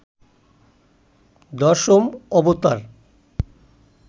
দশম অবতার